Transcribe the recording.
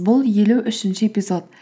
бұл елу үшінші эпизод